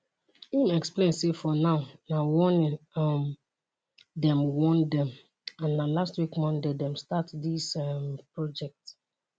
im explain say for now na warning um dem warn dem and na last week monday dem start dis um project